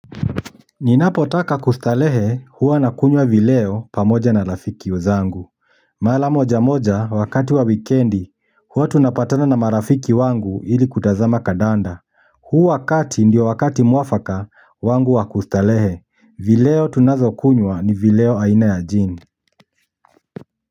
Ninapotaka kustarehe, huwa nakunywa vileo pamoja na marafiki zangu mara moja moja wakati wa wikendi, huwa tunapatana na marafiki wangu ili kutazama kandanda huu wakati ndiyo wakati mwafaka wangu wa kustarehe. Vileo tunavyokunywa ni vileo aina ya jin.